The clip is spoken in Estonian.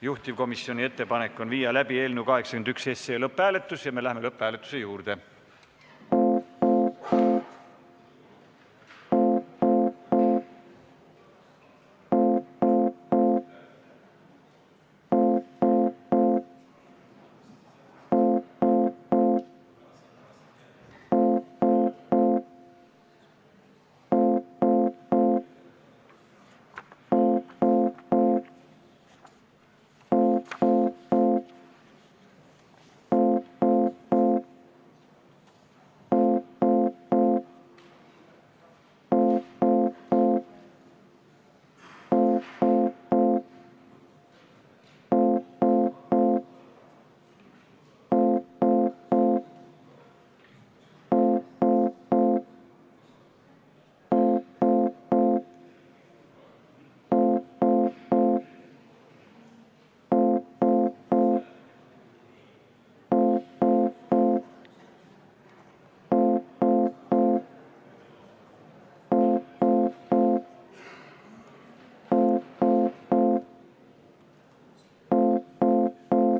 Juhtivkomisjoni ettepanek on viia läbi eelnõu 81 lõpphääletus ja me läheme lõpphääletuse juurde.